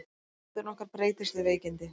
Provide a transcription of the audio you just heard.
Hegðun okkar breytist við veikindi.